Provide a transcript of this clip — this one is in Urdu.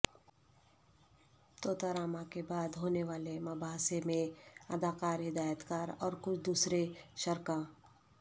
طوطا راما کے بعد ہونے والے مباحثے میں اداکار ہدایتکار اور کچھ دوسرے شرکاء